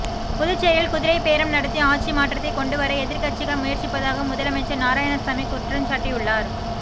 புதுச்சேரியில் குதிரை பேரம் நடத்தி ஆட்சி மாற்றத்தை கொண்டுவர எதிர்க்கட்சிகள் முயற்சிப்பதாக முதலமைச்சர் நாராயணசாமி குற்றம்சாட்டியுள்ளார்